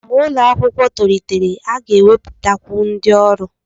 Mgbe ụlọ akwụkwọ tolitere, a ga-ewepụtakwu ndị ọrụ.